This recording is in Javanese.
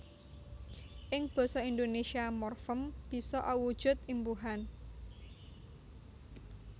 Ing basa Indonésia morfem bisa awujud imbuhan